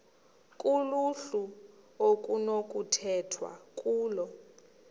kuluhlu okunokukhethwa kulo